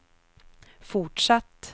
fortsatt